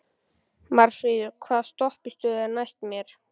Marfríður, hvaða stoppistöð er næst mér?